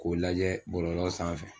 K'o lajɛ bɔlɔlɔ sanfɛ.